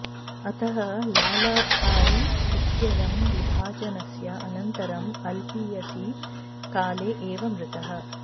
अतः लालभाई इत्ययं विभाजनस्य अनन्तरम् अल्पीयसि काले एव मृतः